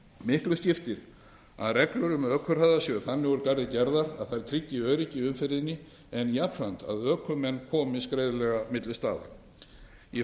miklu skiptir að reglur um ökuhraða séu þannig úr garði gerðar að þær tryggi öryggi í umferðinni en jafnframt að ökumenn komist greiðlega milli staða í